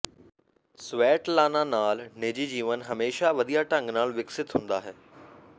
Svetlana ਨਾਲ ਨਿੱਜੀ ਜੀਵਨ ਹਮੇਸ਼ਾਂ ਵਧੀਆ ਢੰਗ ਨਾਲ ਵਿਕਸਿਤ ਹੁੰਦਾ ਹੈ